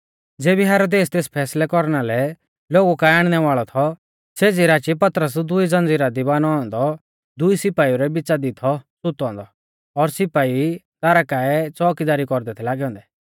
ज़ेबी हेरोदेस तेस फैसलै कौरना लै लोगु काऐ आणनै वाल़ौ थौ सेज़ी राची पतरस दुई ज़ंज़ीरा दी बानौ औन्दौ दुई सिपाइउ रै बिच़ा दी थौ सुतौ औन्दौ और सिपाई दारा काऐ च़ोअकीदारी कौरदै थै लागै औन्दै